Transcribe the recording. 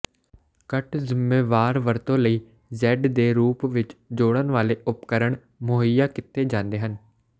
ਘੱਟ ਜ਼ੁੰਮੇਵਾਰ ਵਰਤੋਂ ਲਈ ਜ਼ੈਡ ਦੇ ਰੂਪ ਵਿੱਚ ਜੋੜਨ ਵਾਲੇ ਉਪਕਰਣ ਮੁਹੱਈਆ ਕੀਤੇ ਜਾਂਦੇ ਹਨ